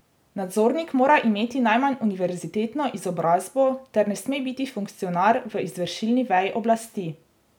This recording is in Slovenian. Nadzornik mora imeti najmanj univerzitetno izobrazbo ter ne sme biti funkcionar v izvršilni veji oblasti.